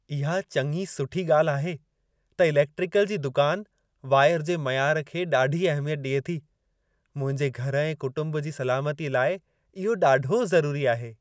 इहा चङी सुठी ॻाल्हि आहे त इलेक्ट्रिकल जी दुकान वाइर जे मयार खे ॾाढी अहिमियत ॾिए थी। मुंहिंजे घर ऐं कुटुंब जी सलामतीअ लाइ इहो ॾाढो ज़रूरी आहे।